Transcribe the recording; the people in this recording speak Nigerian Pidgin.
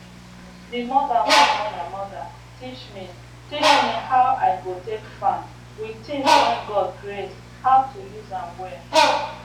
d mother wey born my mother teach me teach me how i go take farm with things wey god create how to use am well